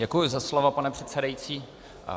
Děkuji za slovo, pane předsedající.